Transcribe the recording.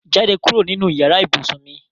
Jade kuro ninu iyara ibusun mi